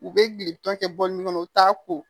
U bɛ gili tɔn kɛ bɔlɔn kɔnɔ u t'a ko